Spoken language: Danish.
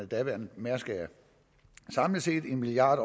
daværende mærsk air samlet set en milliard